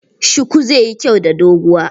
Shuku zai yi kyau da doguwa.